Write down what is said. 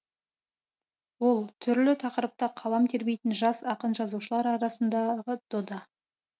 ол түрлі тақырыпта қалам тербейтін жас ақын жазушылар арасындағы дода